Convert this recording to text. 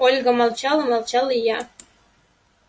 ольга молчала молчала и я